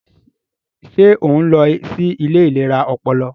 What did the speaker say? Ṣe o nlọ sí ilé ìlera ọpọlọ?